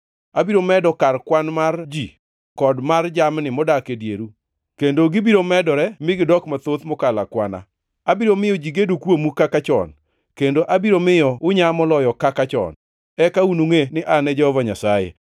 Abiro medo kar kwan mar ji kod mar jamni modak e dieru, kendo gibiro medore mi gidok mathoth mokalo akwana. Abiro miyo ji gedo kuomu kaka chon, kendo abiro miyo unyaa moloyo kaka chon. Eka unungʼe ni An e Jehova Nyasaye.